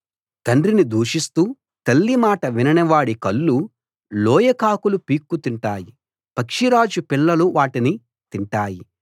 తండ్రిని దూషిస్తూ తల్లి మాట వినని వాడి కళ్ళు లోయ కాకులు పీక్కుతింటాయి పక్షిరాజు పిల్లలు వాటిని తింటాయి